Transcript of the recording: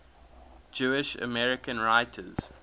jewish american writers